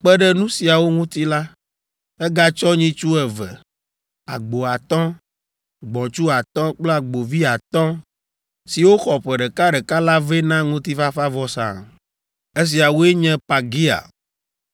Kpe ɖe nu siawo ŋuti la, egatsɔ nyitsu eve, agbo atɔ̃, gbɔ̃tsu atɔ̃ kple agbovi atɔ̃ siwo xɔ ƒe ɖekaɖeka la vɛ na ŋutifafavɔsa. Esiawoe nye Pagiel,